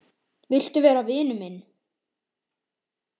Viltu vera vinur minn